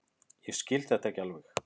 Ég skil þetta ekki alveg.